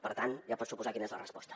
per tant ja pot suposar quina és la resposta